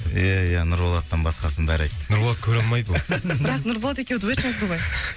ия ия нұрболаттан басқасының бәрі айтты нұрболат көре алмайды ол бірақ нұрболат екеуі дуэт жазды ғой